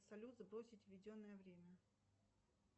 салют сбросить введенное время